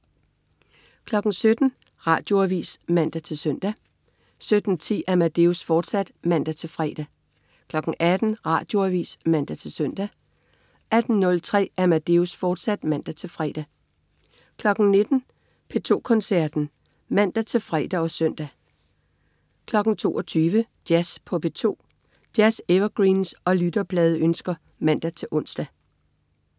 17.00 Radioavis (man-søn) 17.10 Amadeus, fortsat (man-fre) 18.00 Radioavis (man-søn) 18.03 Amadeus, fortsat (man-fre) 19.00 P2 Koncerten (man-fre og søn) 22.00 Jazz på P2. Jazz-evergreens og lytterpladeønsker (man-ons)